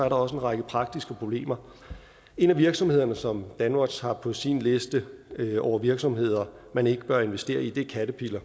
også en række praktiske problemer en af virksomhederne som danwatch har på sin liste over virksomheder man ikke bør investere i er caterpillar